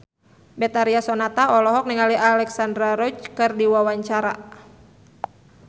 Betharia Sonata olohok ningali Alexandra Roach keur diwawancara